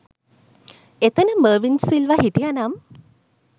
එතන මර්වින් සිල්වා හිටියා නම්